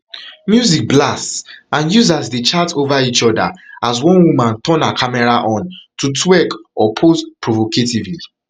music blasts and users dey chat dey chat over each oda as one woman turn her camera on to twerk or pose provocatively